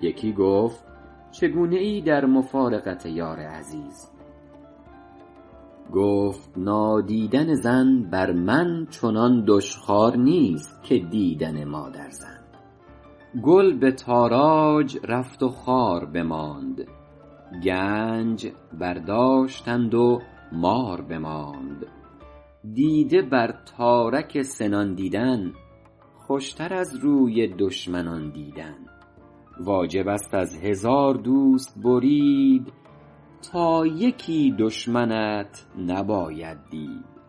یکی گفتا چگونه ای در مفارقت یار عزیز گفت نادیدن زن بر من چنان دشخوار نیست که دیدن مادرزن گل به تاراج رفت و خار بماند گنج برداشتند و مار بماند دیده بر تارک سنان دیدن خوشتر از روی دشمنان دیدن واجب است از هزار دوست برید تا یکی دشمنت نباید دید